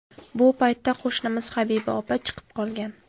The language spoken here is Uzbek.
Bu paytda qo‘shnimiz Habiba opa chiqib qolgan.